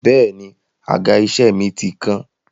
Bẹ́è ni, àga-iṣẹ́ mi ti kán.